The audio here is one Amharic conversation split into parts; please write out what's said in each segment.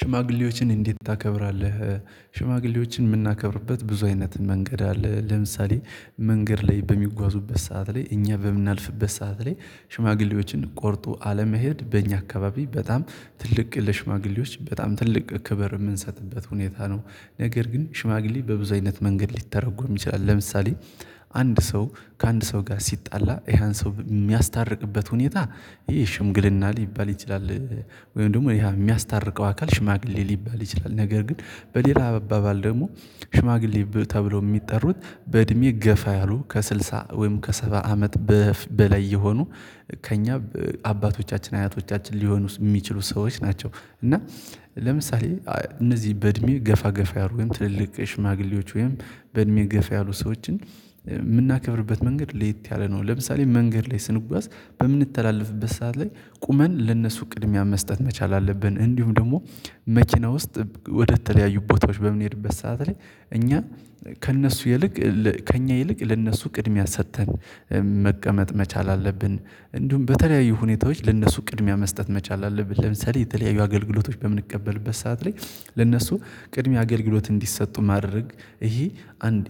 ሽማግሌዎችን እንዴት ታከብራለህ? ሽማግሌዎችን የምናከብርበት ብዙ አይነት መንገድ አለ። ለምሳሌ መንገድ ላይ በሚጓዙበት ሰዓት ላይ እኛ በምናልፍበት ሰዓት ላይ ሽማግሌዎችን ቆርጦ አለመሄድ በእኛ አካባቢ በጣም ትልቅ ለሽማግሌዎች በጣም ትልቅ ክብር የምንሰጥበት ሁኔታ ነው። ነገር ግን ሽማግሌ በብዙ አይነት መንገድ ሊተረጎም ይችላል። ለምሳሌ አንድ ሰው ከአንድ ሰው ጋር ሲጣላ ያን ሰው የሚያስታርቅበት ሁኔታ ይሄ ሽምግልና ሊባል ይችላል። ወይም ደግሞ ይሄ የሚያስታርቀው አካል ሽማግሌ ሊባል ይችላል። ነገር ግን በሌላ አባባል ደግሞ ሽማግሌ ተብሎ የሚጠሩት በእድሜ ገፋ ያሉ ከስልሳ ወይም ከሰባ አመት በላይ የሆኑ ከእኛ አባቶቻችን አያቶቻችን ሊሆኑ የሚችሉ ሰዎች ናቸው። እና ለምሳሌ እነዚህ በእድሜ ገፋ ገፋ ያሉ ትልልቅ ሽማግሌዎች ወይም በእድሜ ገፋ ያሉ ሰዎችን የምናከብርበት መንገድ ሌት ያለ ነው ለምሳሌ መንገድ ላይ ስንጓዝ በምንተላለፍበት ሰዓት ላይ ቁመን ለነሱ ቅድሚያ መስጠት መቻል አለብን። እንዲሁም ደግሞ መኪና ውስጥ ወደተለያዩ ቦታዎች በምንሄድበት ሰዓት ላይ እኛ ከእነሱ ይልቅ ከእኛ ይልቅ ለእነሱ ቅድሚያ ሰጥተን መቀመጥ መቻል አለብን። እንዲሁም በተለያዩ ሁኔታዎች ለእነሱ ቅድሚያ መስጠት መቻል አለብን። ለምሳሌ የተለያዩ አገልግሎቶች በምንቀበልበት ሰዓት ላይ ለነሱ ቅድሚያ አገልግሎት እንዲሰጡ ማድረግ ይሄ አንድ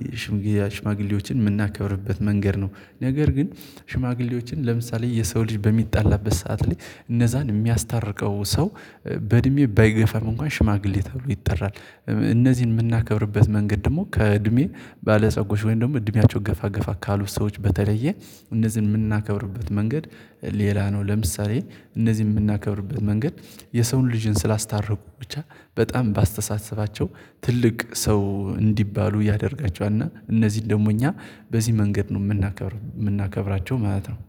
ሽማግሌዎችን የምናከብርበት መንገድ ነው። ነገር ግን ሽማግሌዎችን ለምሳሌ የሰው ልጅ በሚጣላበት ሰዓት ላይ እነዛን የሚያስታርቀው ሰው በእድሜ ባይገፈም እንኳን ሽማግሌ ተብሎ ይጠራል። እነዚህን የምናከብርበት መንገድ ደግሞ ከእድሜ ባለጸጎች ወይም ደግሞ እድሜያቸው ገፋገፋ ካሉት ሰዎች በተለየ እነዚህን የምናከብርበት መንገድ ሌላ ነው። ለምሳሌ እነዚህን የምናከብርበት መንገድ የሰውን ልጅን ስላስታረቁ ብቻ በጣም ባስተሳሰባቸው ትልቅ ሰው እንዲባሉ ያደርጋቸዋል እና እነዚህን ደግሞ እኛ በዚህ መንገድ ነው የምናከብር የምናከብራቸው ማለት ነው